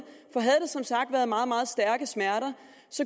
for havde der som sagt været meget meget stærke smerter